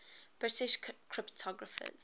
british cryptographers